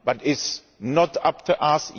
But it is not up to us.